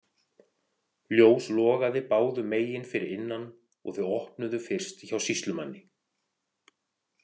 Ljós logaði báðum megin fyrir innan og þau opnuðu fyrst hjá sýslumanni.